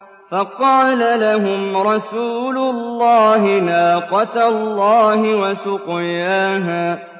فَقَالَ لَهُمْ رَسُولُ اللَّهِ نَاقَةَ اللَّهِ وَسُقْيَاهَا